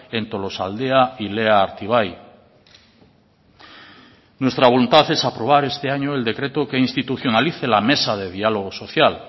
en tolosaldea y lea artibai nuestra voluntad es aprobar este año el decreto que institucionalice la mesa de diálogo social